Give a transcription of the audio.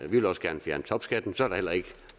vi vil også gerne fjerne topskatten så er der heller ikke